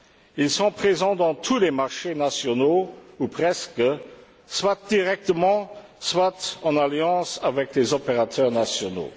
Ils sont présents dans tous les marchés nationaux ou presque, soit directement, soit en alliance avec des opérateurs nationaux.